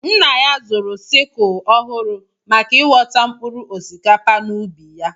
Nna ya zụrụ sikul ọhụụ maka ighọta mkpụrụ osikapa n'ubi ya.